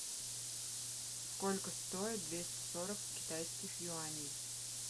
сколько стоит двести сорок китайских юаней